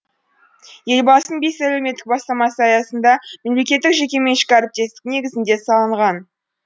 елбасының бес әлеуметтік бастамасы аясында мемлекеттік жекеменшік әріптестік негізінде салынған